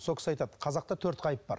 сол кісі айтады қазақта төрт ғайып бар